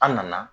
An nana